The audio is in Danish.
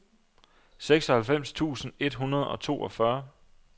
seksoghalvfems tusind et hundrede og toogfyrre